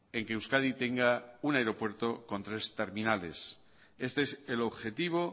en que euskadi tenga un aeropuerto con tres terminales este es el objetivo